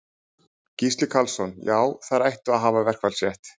Gísli Karlsson: Já, þeir ættu að hafa verkfallsrétt?